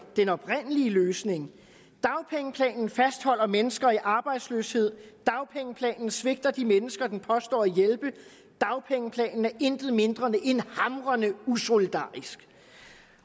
den oprindelige løsning dagpengeplanen fastholder mennesker i arbejdsløshed dagpengeplanen svigter de mennesker den påstår at hjælpe dagpengeplanen er intet mindre end hamrende usolidarisk